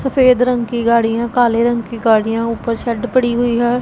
सफेद रंग की गाड़ी है काले रंग की गाड़ी है ऊपर शेड पड़ी हुई है।